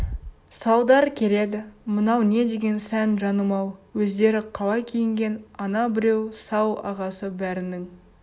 салдар келеді мынау не деген сән жаным-ау өздері қалай киінген ана біреу сал ағасы бәрінің